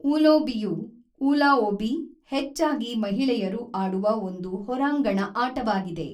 ಊಲೋಬಿಯು (ವೂ-ಲಾಓಬಿ) ಹೆಚ್ಚಾಗಿ ಮಹಿಳೆಯರು ಆಡುವ ಒಂದು ಹೊರಾಂಗಣ ಆಟವಾಗಿದೆ.